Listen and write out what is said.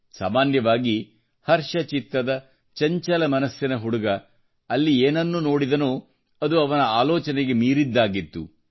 ಸಾಮಾನ್ಯವಾಗಿ ಹರ್ಷಚಿತ್ತದ ಚಂಚಲ ಮನಸ್ಸಿನ ಹುಡುಗ ಅಲ್ಲಿ ಏನನ್ನು ನೋಡಿದನೋ ಅದು ಅವನ ಆಲೋಚನೆಗೆ ಮೀರಿದ್ದಾಗಿತ್ತು